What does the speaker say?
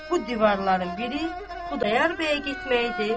Bu divarların biri Xudayar bəyə getmək idi,